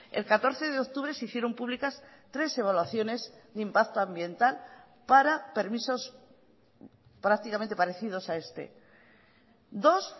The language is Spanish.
el catorce de octubre se hicieron públicas tres evaluaciones de impacto ambiental para permisos prácticamente parecidos a este dos